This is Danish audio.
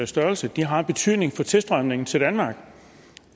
størrelse har betydning for tilstrømningen til danmark